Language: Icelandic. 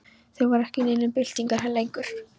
Þeir voru ekki í neinum byltingarhug lengur.